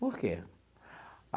Por quê?